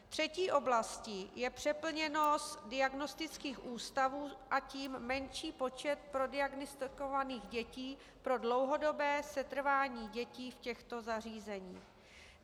Třetí oblastí je přeplněnost diagnostických ústavů, a tím menší počet prodiagnostikovaných dětí pro dlouhodobé setrvání dětí v těchto zařízeních.